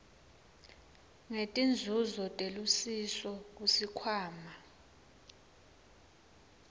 setinzuzo telusiso kusikhwama